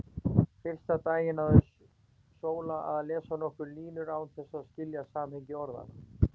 Fyrsta daginn náði Sóla að lesa nokkrar línur án þess að skilja samhengi orðanna.